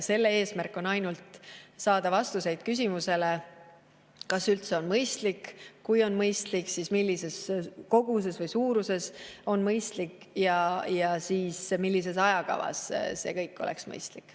Selle eesmärk on saada vastused küsimustele, kas üldse on mõistlik, ja kui on mõistlik, siis millises koguses mõistlik ja millises ajakavas see kõik oleks mõistlik.